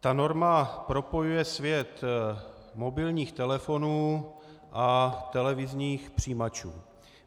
Ta norma propojuje svět mobilních telefonů a televizních přijímačů.